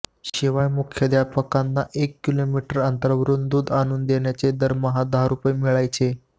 शिवाय मुख्याध्यापकांना एक किलोमीटर अंतरावरून दूध आणून देण्याचे दरमहा दहा रुपये मिळायचे